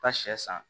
Ka sɛ san